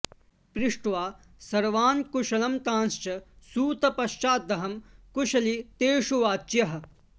पृष्ट्वा सर्वान्कुशलं तांश्च सूत पश्चादहं कुशली तेषु वाच्यः